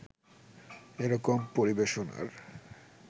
এ রকম পরিবেশনার